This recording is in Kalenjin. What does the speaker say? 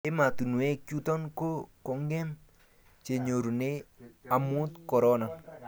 ematunwek chuton ko kongem chenyorume amun korona